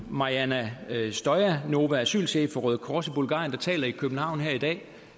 mariana stoyanova asylchef for røde kors i bulgarien der taler i københavn her i dag